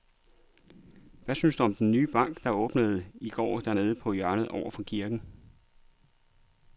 Hvad synes du om den nye bank, der åbnede i går dernede på hjørnet over for kirken?